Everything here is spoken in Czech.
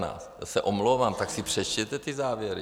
Já se omlouvám, tak si přečtěte ty závěry!